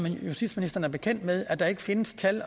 justitsministeren bekendt med at der ikke findes tal